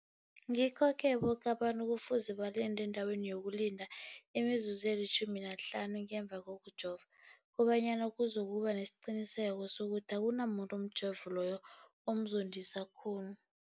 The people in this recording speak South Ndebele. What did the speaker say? Ngikho-ke boke abantu kufuze balinde endaweni yokulinda imizuzu eli-15 ngemva kokujova, koba nyana kuzokuba nesiqiniseko sokuthi akunamuntu umjovo loyo omzondisa khulu.